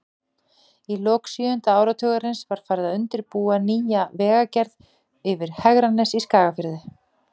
Í lok sjöunda áratugarins var farið að undirbúa nýja vegagerð yfir Hegranes í Skagafirði.